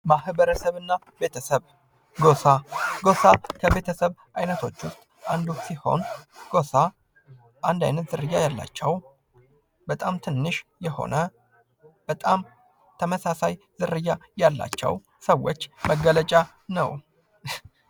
ማህበርሰብ እና ቤተሰብ ለምሳሌ ጎሳ አንድ አይነት ዝርያ ያላቸው በጣም ትንሽ የሆነ በታም ተመሳሳይ ዝርያ ያላቸው ስዎች መገለጫ ነው።